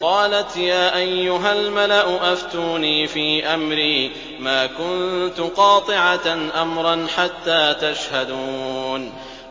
قَالَتْ يَا أَيُّهَا الْمَلَأُ أَفْتُونِي فِي أَمْرِي مَا كُنتُ قَاطِعَةً أَمْرًا حَتَّىٰ تَشْهَدُونِ